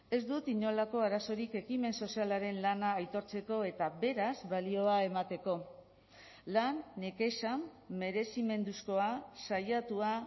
ez dut inolako arazorik ekimen sozialaren lana aitortzeko eta beraz balioa emateko lan nekeza merezimenduzkoa saiatua